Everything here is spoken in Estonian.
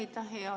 Aitäh!